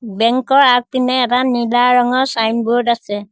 Bank ৰ অগপিনে এটা নীলা ৰঙৰ ছাইনবোৰ্ড আছে।